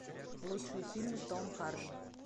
лучшие фильмы с томом харди